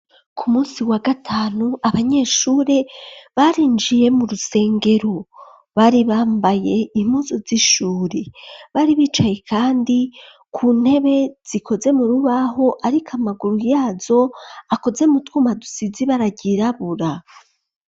Ku munsi wa gatanu, abanyeshure barinjiye, mu rusengero; bari bambaye, impuzu z'ishuri; bari bicaye kandi ku ntebe, zikoze mu rubaho, ariko amaguru yazo, akoze mu twuma, dusize ibara ryirabura.